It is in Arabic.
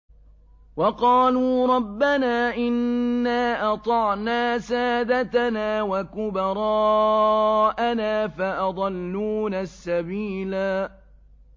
وَقَالُوا رَبَّنَا إِنَّا أَطَعْنَا سَادَتَنَا وَكُبَرَاءَنَا فَأَضَلُّونَا السَّبِيلَا